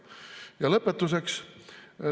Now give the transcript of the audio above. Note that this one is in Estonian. Ja lõpetuseks.